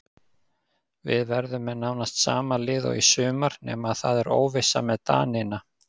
Við verðum með nánast sama lið og í sumar nema það er óvissa með Danina.